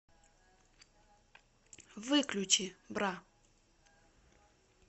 выключи бра